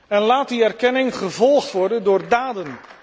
En laat die erkenning gevolgd worden door daden.